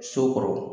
So kɔrɔ